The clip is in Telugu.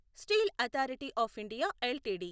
steel Authority of India LTD